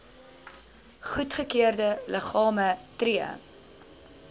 goedgekeurde liggame tree